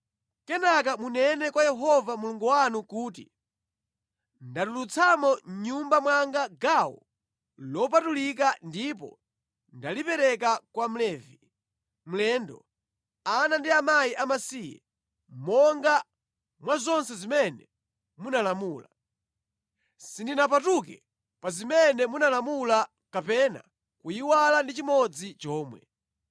Kenaka munene kwa Yehova Mulungu wanu kuti “Ndatulutsamo mʼnyumba mwanga gawo lopatulika ndipo ndalipereka kwa Mlevi, mlendo, ana ndi akazi amasiye, monga mwa zonse zimene munalamula. Sindinapatuke pa zimene munalamula kapena kuyiwala ndi chimodzi chomwe.